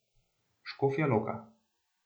Škofja Loka.